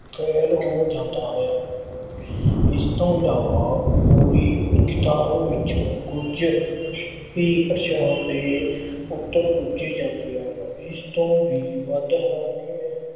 fail ਹੋ ਜਾਂਦਾ ਹੈ। ਇਸ ਤੋਂ ਇਲਾਵਾ ਪੂਰੀ ਕਿਤਾਬ ਵਿੱਚੋਂ ਕੁੱਝ ਹੀ ਪ੍ਰਸ਼ਨ ਦੇ ਉੱਤਰ ਪੁੱਛੇ ਜਾਂਦੇ ਹਨ। ਇਸ ਤੋਂ ਵੀ ਵੱਧ ਹੈਰਾਨੀ